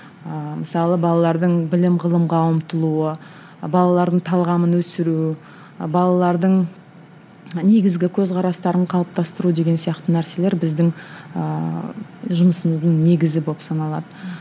ыыы мысалы балалардың білім ғылымға ұмтылуы балалардың талғамын өсіру балалардың негізгі көзқарастарын қалыптастыру деген сияқты нәрселер біздің ыыы жұмысымыздың негізі болып саналады